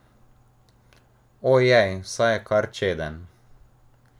Ojej, saj je kar čeden!